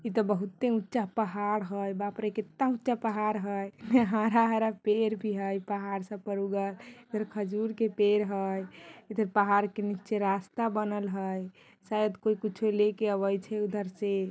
इ ते बहुते ऊंचा पहाड़ हई बाप रे कित्ता ऊंचा पहाड़ हई हरा-हरा पेड़ भी हई इ पहाड़ सब पर ऊगल फिर खजूर के पेड़ हई इधर पहाड़ के नीचे रास्ता बनल हई शायद कोई कुछो लेके आवै छै उधर से।